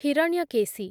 Hiranyakeshi